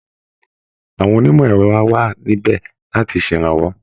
Àwọn onímọ̀ ẹ̀rọ á wà níbẹ̀ láti ṣèrànwọ́